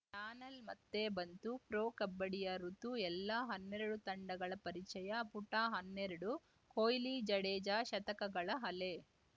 panel ಮತ್ತೆ ಬಂತು pro ಕಬಡ್ಡಿಯ ಋುತು ಎಲ್ಲ ಹನ್ನೆರಡು ತಂಡಗಳ ಪರಿಚಯ ಪುಟ ಹನ್ನೆರಡು ಕೊಹ್ಲಿ ಜಡೇಜಾ ಶತಕಗಳ ಅಲೆ